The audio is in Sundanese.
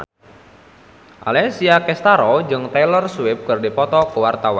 Alessia Cestaro jeung Taylor Swift keur dipoto ku wartawan